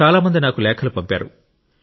చాలా మంది నాకు లేఖలు పంపారు